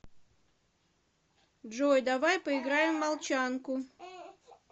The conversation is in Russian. джой давай поиграем в молчанку